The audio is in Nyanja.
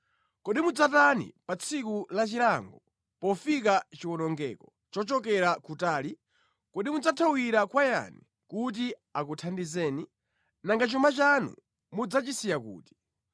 Kodi mudzatani pa tsiku la chilango, pofika chiwonongeko chochokera kutali? Kodi mudzathawira kwa yani kuti akuthandizeni? Nanga chuma chanu mudzachisiya kuti?